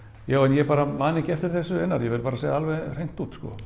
já en ég bara man ekki eftir þessu Einar ég varð bara að segja alveg hreint út sko